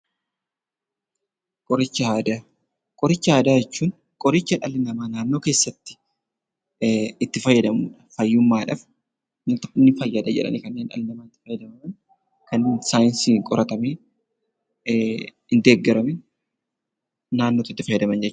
Qoricha Aadaa Qoricha aadaa jechuun qoricha dhalli namaa naannoo keessatti itti fayyadamu dha. Fayyummaadhaaf ni fayyada jedhanii kanneen dhalli namaa itti fayyadaman, kan saayinsiin qoratamee hin deeggaramin naannootti fayyadaman jech....